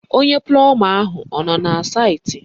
Onye plọma ahụ ọ nọ na saịtị?